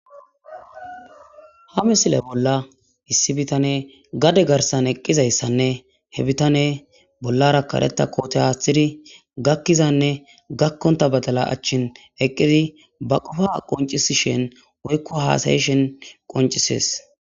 Ha misile bolla issi bitaney gade garsan eqqizayssanne he bitaney bollara kareta koote aathidi gakizanne gakonta badala acheen eqqidi ba qofa qoncisishin woykko haasa'ishen qoncises.